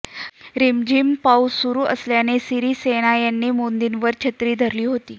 रिमझिम पाऊस सुरू असल्याने सिरीसेना यांनी मोदींवर छत्री धरली होती